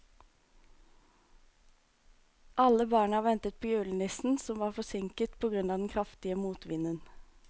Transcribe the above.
Alle barna ventet på julenissen, som var forsinket på grunn av den kraftige motvinden.